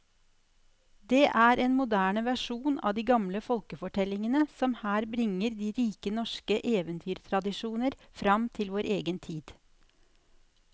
Det er en moderne versjon av de gamle folkefortellingene som her bringer de rike norske eventyrtradisjoner fram til vår egen tid.